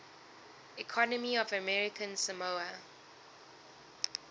economy of american samoa